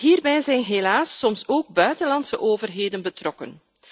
Hierbij zijn helaas soms ook buitenlandse overheden betrokken.